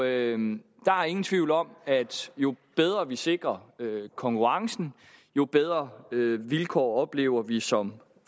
er ingen ingen tvivl om at jo bedre vi sikrer konkurrencen jo bedre vilkår oplever vi som